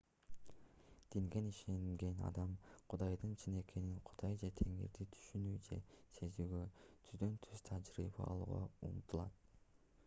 динген ишенген адам кудайдын чын экенин/кудай же теңирди түшүнүү же сезүүгө түздөн-түз тажрыйба алууга умтулат